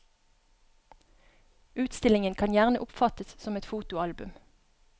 Utstillingen kan gjerne oppfattes som et fotoalbum.